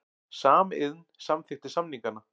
Samiðn samþykkti samningana